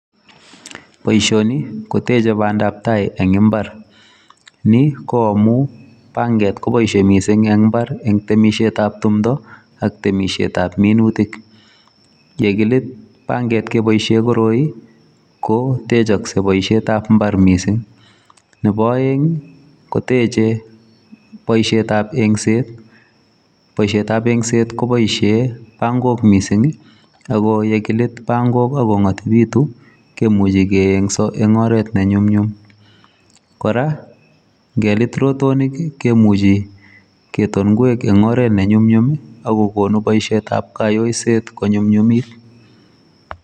Boisioni kotech bandab tai en mbar. Ni koamun panget koboisie mising en mbar en timisietab timdo ak temisietab minutik. Yekilit panget keboisien koroi kotechongse boisietab mbar mising. Nebo oeng kotech boisietab yengset, boisietab yengset koboisien pang'ok mising ago ye kilit pangok ak kong'otibitu komuche koyengso en oret nenyumnyum. Kora ngelit rotonik komuchi kiton ngwek en oret ne nyumnyum ago konu boisietab kayoiset konyumnyumit.